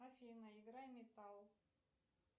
афина игра метал